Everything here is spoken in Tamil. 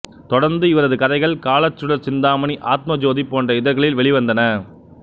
தொடர்ந்து இவரது கதைகள் காலச்சுடர் சிந்தாமணி ஆத்மஜோதி போன்ற இதழ்களில் வெளிவந்தன